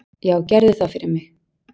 """Já, gerðu það fyrir mig!"""